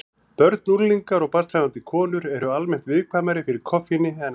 Börn, unglingar og barnshafandi konur eru almennt viðkvæmari fyrir koffíni en aðrir.